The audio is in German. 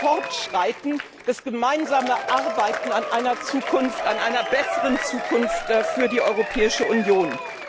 Fortschreiten, das gemeinsame Arbeiten an einer Zukunft, an einer besseren Zukunft für die Europäische Union.